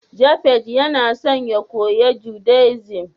Japhet Yana son ya koya Judaism